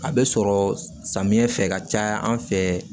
A bɛ sɔrɔ samiyɛ fɛ ka caya an fɛ